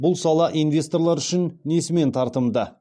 бұл сала инвесторлар үшін несімен тартымды